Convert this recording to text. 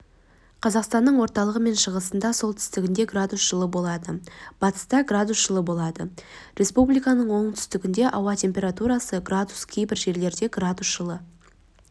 қазақстанның орталығы мен шығысында солтүстігінде градус жылы болады батыста градус жылы болады республиканың оңтүстігінде ауа температурасы градус кейбір жерлерде градус жылы